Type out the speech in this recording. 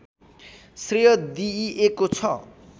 श्रेय दिइएको छ